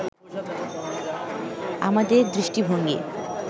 আমাদের দৃষ্টিভঙ্গী